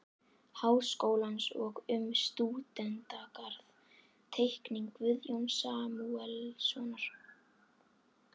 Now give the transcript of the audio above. Háskólans og um stúdentagarð-Teikning Guðjóns Samúelssonar